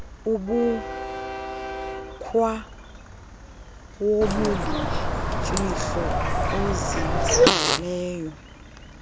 umkhwa wobumfihlo ozinzileyo